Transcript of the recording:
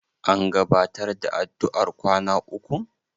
An gabatar da addu'ar kwana ukun?